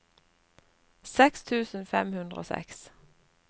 seks tusen fem hundre og seks